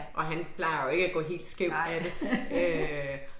Og han plejer jo ikke at gå helt skævt af det øh